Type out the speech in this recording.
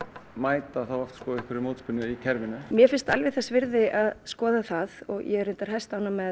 mæta þá oft einhverri mótspyrnu í kerfinu mér finnst alveg þess virði að skoða það og ég er hæstánægð með